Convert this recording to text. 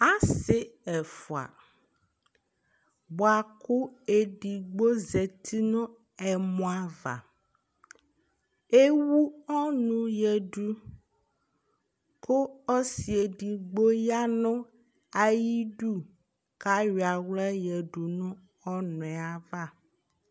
asi ɛfua boa kò edigbo zati no ɛmɔ ava ewu ɔnu ya du kò ɔsi edigbo ya no ayi du k'ayɔ ala ya du no ɔnu yɛ ava